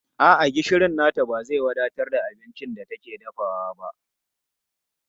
A'a, gishirin nata ba zai wadatar da abincin da take dafawa ba.